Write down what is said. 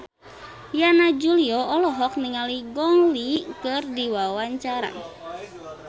Yana Julio olohok ningali Gong Li keur diwawancara